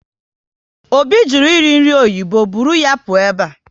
Obi jụrụ eri nri oyibo, buru ya pụọ ebe a!